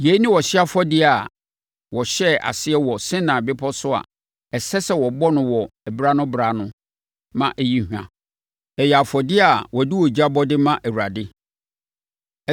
Yei ne ɔhyeɛ afɔdeɛ a wɔhyɛɛ aseɛ wɔ Sinai Bepɔ so a ɛsɛ sɛ wɔbɔ no wɔ berɛ-ano-berɛ-ano ma ɛyi hwa. Ɛyɛ afɔdeɛ a wɔde ogya bɔ de ma Awurade.